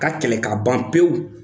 K'a kɛlɛ ka ban pewu.